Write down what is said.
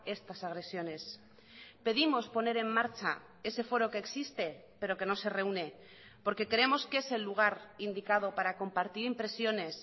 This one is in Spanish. estas agresiones pedimos poner en marcha ese foro que existe pero que no se reúne porque creemos que es el lugar indicado para compartir impresiones